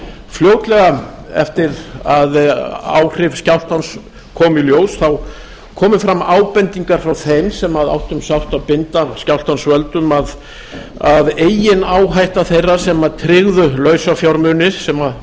fljótlega eftir að áhrif skjálftans komu í ljós komu fram ábendingar frá þeim sem áttu um sárt að binda af skjálftans völdum að eigin áhætta þeirra sem tryggðu lausafjármuni sem